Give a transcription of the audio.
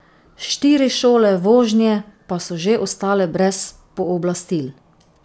Štiri šole vožnje pa so že ostale brez pooblastil.